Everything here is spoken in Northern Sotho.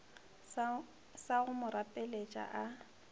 sa go mo rapeletša a